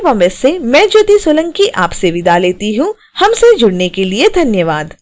यह स्क्रिप्ट विकास द्वारा अनुवादित है आई आई टी बॉम्बे से मैं ज्योति सोलंकी आपसे विदा लेती हूँ हमसे जुड़ने के लिए धन्यवाद